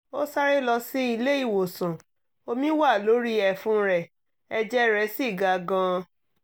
ó sáré lọ sí ilé ìwòsàn omi wà lórí ẹ̀fun rẹ̀ ẹ̀jẹ̀ rẹ̀ sì ga gan-an